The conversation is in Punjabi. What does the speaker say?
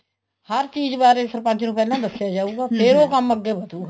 ਹਰ ਚੀਜ਼ ਬਾਰੇ ਸਰਪੰਚ ਨੂੰ ਪਹਿਲਾਂ ਦੱਸਿਆ ਜਾਉਗਾ ਫ਼ੇਰ ਉਹ ਕੰਮ ਅੱਗੇ ਵੱਧੂਗਾ